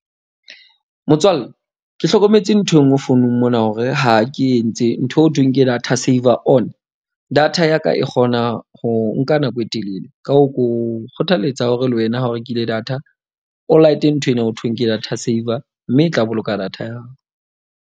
Motswalle ke hlokometse nthwe enngwe founung mona. Hore ha ke entse ntho eo thweng ke data saver on. Data ya ka e kgona ho nka nako e telele. Ka hoo, ke o kgothalletsa hore le wena ha o rekile data o light-e nthwena ho thweng ke data saver. Mme e tla boloka data ya .